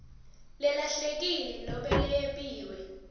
lelahlekile nobe leyebiwe